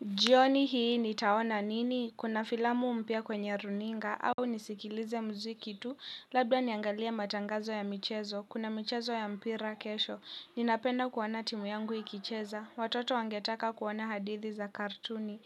Jioni hii nitaona nini, kuna filamu mpya kwenye runinga, au nisikilize mziki tu, labda niangalie matangazo ya michezo, kuna michezo ya mpira kesho, ninapenda kuona timu yangu ikicheza, watoto wangetaka kuona hadithi za kartuni,